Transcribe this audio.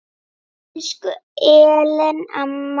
Elsku Ellen amma.